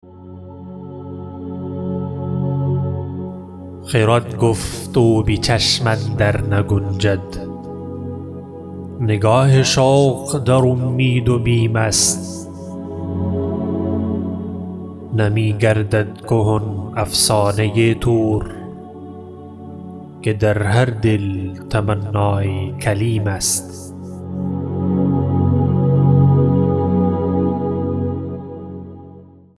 خرد گفت او بچشم اندر نگنجد نگاه شوق در امید و بیم است نمیگردد کهن افسانه طور که در هر دل تمنای کلیم است